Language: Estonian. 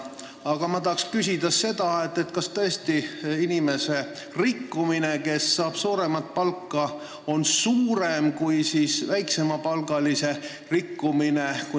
Aga ma tahan küsida, kas tõesti selle inimese rikkumine, kes saab suuremat palka, on suurem kui väiksemapalgalise rikkumine.